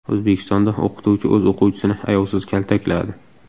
O‘zbekistonda o‘qituvchi o‘z o‘quvchisini ayovsiz kaltakladi .